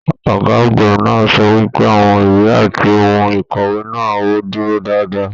Ọgá àgbà náà sọ wípé àwọn ìwé àti ohùn ikọwe náà o dúró dáadáa.